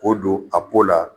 K'o don a po la